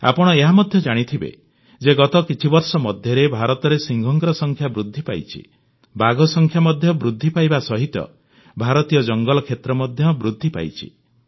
ଆପଣ ଏହା ମଧ୍ୟ ଜାଣିଥିବେ ଯେ ଗତ କିଛିବର୍ଷ ମଧ୍ୟରେ ଭାରତରେ ସିଂହଙ୍କ ସଂଖ୍ୟା ବୃଦ୍ଧି ପାଇଛି ବାଘ ସଂଖ୍ୟା ମଧ୍ୟ ବୃଦ୍ଧି ପାଇବା ସହିତ ଭାରତୀୟ ଜଙ୍ଗଲ କ୍ଷେତ୍ର ମଧ୍ୟ ବୃଦ୍ଧି ପାଇଛି